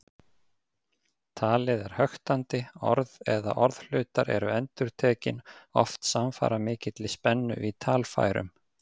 Talið er höktandi, orð eða orðhlutar eru endurtekin, oft samfara mikilli spennu í talfærum.